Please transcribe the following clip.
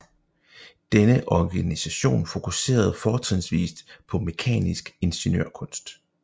Denne organisation fokuserede fortrinsvist på mekanisk ingeniørkunst